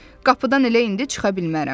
Qapıdan elə indi çıxa bilmərəm.